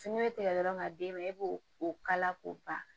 Fini bɛ tigɛ dɔrɔn ka d'e ma e b'o o kala k'o ban